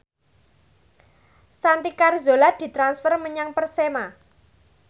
Santi Carzola ditransfer menyang Persema